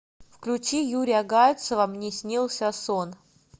включи юрия гальцева мне снился сон